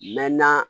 Mɛ na